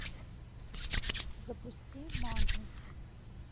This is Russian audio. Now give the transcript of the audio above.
запусти мангу